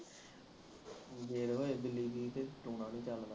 ਜੇ ਹੋਏ ਬਿੱਲੀ ਜਿਹੀ ਤੇ ਟੂਣਾ ਵੀ ਚਲਦਾ